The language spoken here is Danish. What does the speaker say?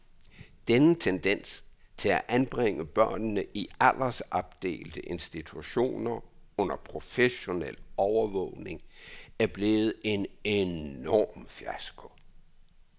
Denne tendens til at anbringe børnene i aldersopdelte institutioner under professionel overvågning er blevet en enorm fiasko.